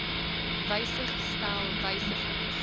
wysig stel wysigings